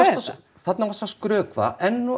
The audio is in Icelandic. þarna varstu að skrökva enn og